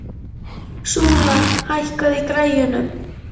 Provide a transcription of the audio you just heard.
Súla, hækkaðu í græjunum.